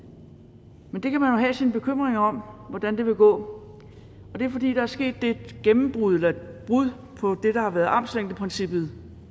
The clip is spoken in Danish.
men man kan have sine bekymringer over hvordan det vil gå og det er fordi der er sket et gennembrud eller et brud på det der har været armslængdeprincippet